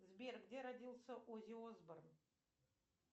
сбер где родился оззи осборн